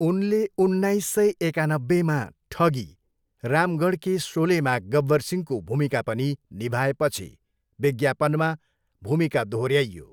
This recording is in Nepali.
उनले उन्नाइस सय एकानब्बेमा ठगी, रामगढ के सोलेमा गब्बर सिंहको भूमिका पनि निभाएपछि विज्ञापनमा भूमिका दोहोऱ्याइयो।